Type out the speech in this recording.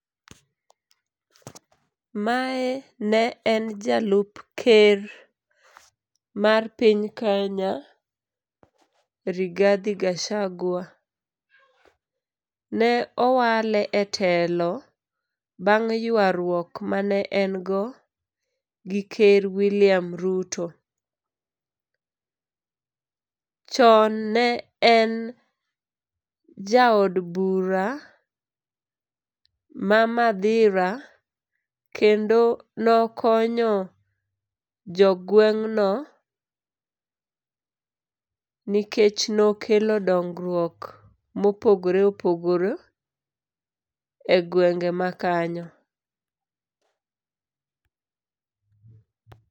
Mae ne en jalup ker mar piny Kenya Rigathi Gachagua. Ne owale e telo bang' ywaruok mane engo gi ker William Ruto. Chon ne en jaod bura ma Mathira, kendo nokonyo jogweng'no nikech nokelo dongrwuok mopogore opogore e gwenge makanyo.